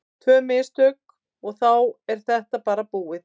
Tvö mistök og þá er þetta bara búið.